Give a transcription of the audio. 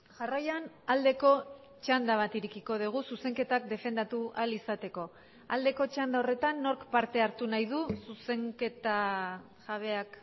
jarraian aldeko txanda bat irekiko dugu zuzenketak defendatu ahal izateko aldeko txanda horretan nork parte hartu nahi du zuzenketa jabeak